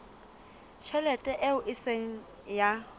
tjhelete eo e seng ya